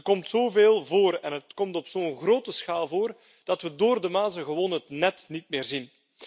Het komt zo veel voor en het komt op zo'n grote schaal voor dat we door de mazen gewoon het net niet meer zien.